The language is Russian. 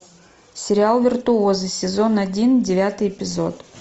сериал виртуозы сезон один девятый эпизод